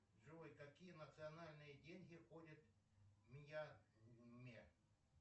джой какие национальные деньги ходят в мьянме